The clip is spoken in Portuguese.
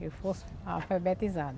Que eu fosse analfabetizada.